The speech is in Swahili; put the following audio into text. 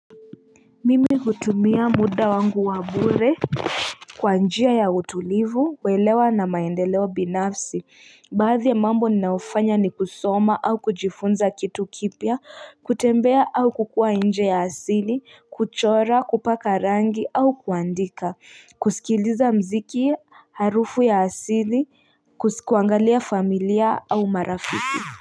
Mimi hutumia muda wangu wa mbure kwa njia ya utulivu, welewa na maendelewa binafsi, baadhi ya mambo ninaufanya ni kusoma au kujifunza kitu kipya, kutembea au kukua inje ya asili, kuchora, kupaka rangi au kuandika, kusikiliza mziki ya harufu ya asili, kusikuangalia familia au marafiki Ah!